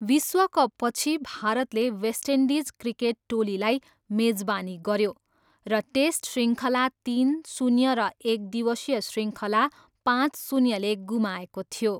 विश्वकपपछि, भारतले West Indies cricket टोलीलाई मेजबानी गऱ्यो र टेस्ट शृङ्खला तिन, शून्य र एकदिवसीय शृङ्खला पाँच, शून्यले गुमाएको थियो।